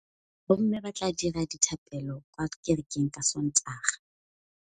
Bommê ba tla dira dithapêlô kwa kerekeng ka Sontaga.